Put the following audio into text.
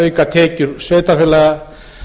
auka tekjur sveitarfélaga